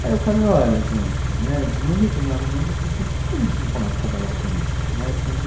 Aí eu falei, olha gente, né, de num determinado momento eu falei assim, por que a gente não começa a trabalhar com isso, né, assim de